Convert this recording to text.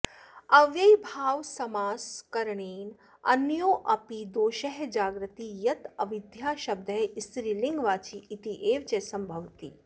अव्ययीभावसमासकरणेन अन्योऽपि दोषः जाग्रति यत् अविद्याशब्दः स्त्रीलिङ्गवाची इत्येव च सम्भवति